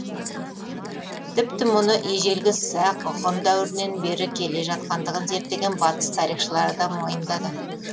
тіпті мұны ежелгі сақ ғұн дәуірінен бері келе жатқандығын зерттеген батыс тарихшылары да мойындады